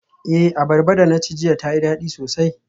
Eh, abarba da na ci jiya tayi dadi sosai.